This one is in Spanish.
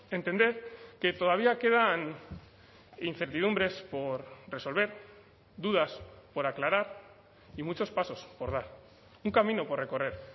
entender que todavía quedan incertidumbres por resolver dudas por aclarar y muchos pasos por dar un camino por recorrer